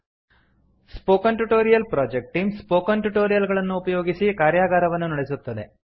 spoken tutorial project team spoken tutorial ಗಳನ್ನು ಉಪಯೋಗಿಸಿ ಕಾರ್ಯಗಾರವನ್ನು ನಡೆಸುತ್ತದೆ